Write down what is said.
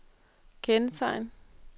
kendetegn